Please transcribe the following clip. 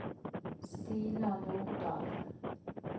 Stina Nordahl